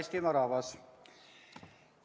Hea Eestimaa rahvas!